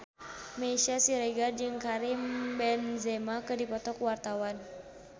Meisya Siregar jeung Karim Benzema keur dipoto ku wartawan